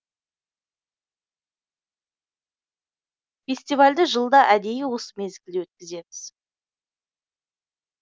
фестивальді жылда әдейі осы мезгілде өткіземіз